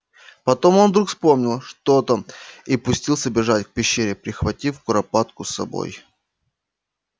потом он вдруг вспомнил что то и пустился бежать к пещере прихватив куропатку с собой